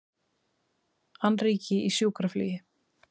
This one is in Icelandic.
Annríki í sjúkraflugi